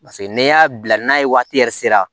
Paseke n'i y'a bila n'a ye waati yɛrɛ sera